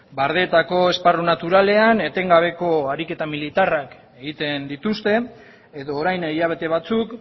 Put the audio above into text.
bardeetako esparru naturalean etengabeko ariketa militarrak egiten dituzte edo orain hilabete batzuk